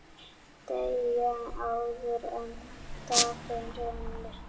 Deyja, áður en dagur rynni.